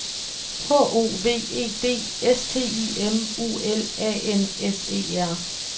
H O V E D S T I M U L A N S E R